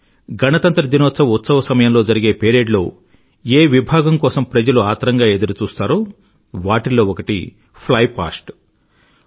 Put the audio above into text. గణతంత్ర దినోత్సవ ఉత్సవ సమయంలో జరిగే పెరేడ్ లో ఏ భాగం కోసం ప్రజలు ఆత్రంగా ఎదురు చూస్తారో వాటిల్లో ఒకటి ఫ్లై పాస్ట్fly పాస్ట్